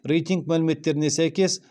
рейтинг мәліметтеріне сәйкес